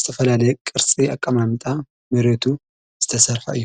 ዝተፈላለየ ቅርሲ ኣቀማምጣ መሬቱ ዝተሠርፋ እዩ።